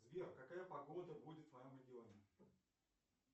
сбер какая погода будет в моем регионе